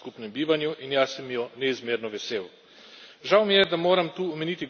To je velikanska sprememba v našem skupnem bivanju in jaz sem jo neizmerno vesel.